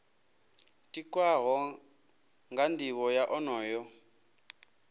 tikwaho nga nivho ya onoyo